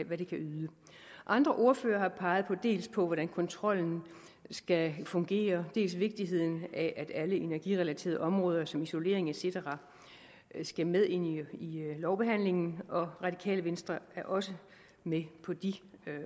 hvad det kan yde andre ordførere har peget dels på hvordan kontrollen skal fungere dels på vigtigheden af at alle energirelaterede områder som isolering et cetera skal med ind i lovbehandlingen og radikale venstre er også med på de